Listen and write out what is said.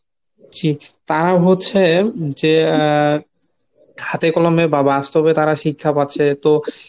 জি তারা হচ্ছে যে হাতে কলমে বা বাস্তবে তারা শিক্ষা পাচ্ছে তো